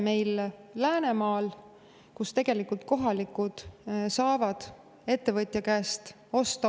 Seal saavad kohalikud osta odavamat energiat otse ettevõtja käest.